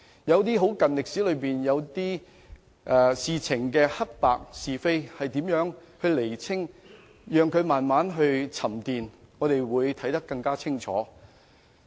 有些近代歷史事件，黑白是非應如何釐清，可能要讓它們慢慢沉澱，才看得更清楚。